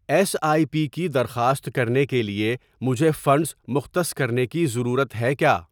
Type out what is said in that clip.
S I P کی درخواست کرنے کے لیے مجھے فنڈز مختص کرنے کی ضرورت ہے کیا؟